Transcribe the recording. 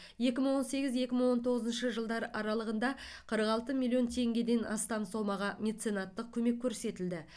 екі мың он сегіз екі мың он тоғызыншы жылдар аралығында қырық алты миллион теңгеден астам сомаға меценаттық көмек көрсетілді